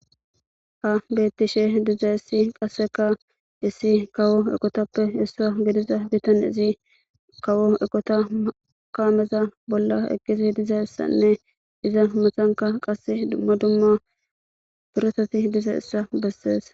ha bettishe diza issi qasseka issi kawo eqotappe issa gidiza bitan izi kawo eqota kaameza bolla eqqizi diza ssanne iza masanka qasse dumma dumma birosati diza issa bessees